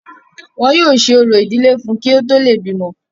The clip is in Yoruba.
wọn yóò ṣe orò ìdílé fún un kí ó tó le bímọ